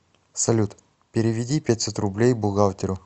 салют переведи пятьсот рублей бухгалтеру